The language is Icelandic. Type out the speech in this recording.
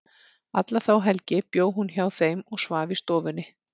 Alla þá helgi bjó hún hjá þeim og svaf í stofunni.